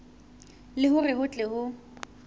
le hore ho tle ho